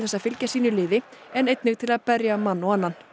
að fylgja sínu liði en einnig til að berja mann og annan